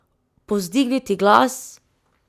Povzdigniti glas?